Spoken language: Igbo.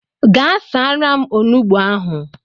Gaa saara m onugbu ahụ.